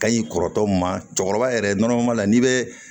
Ka ɲi kɔrɔtɔ ma cɛkɔrɔba yɛrɛ nɔnɔma la n'i bɛ